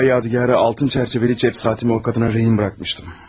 Yadigar, altı çərçivəli cib saatımı qadına girov qoymuşdum.